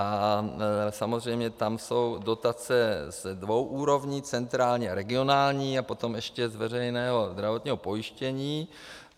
A samozřejmě tam jsou dotace ze dvou úrovní, centrální a regionální, a potom ještě z veřejného zdravotního pojištění.